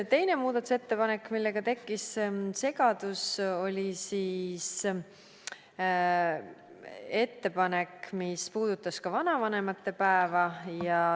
Teine muudatusettepanek, millega tekkis segadus, oli ettepanek, mis puudutas ka vanavanemate päeva.